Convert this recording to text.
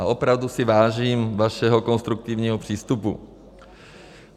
A opravdu si vážím vašeho konstruktivního přístupu.